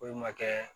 Foyi ma kɛ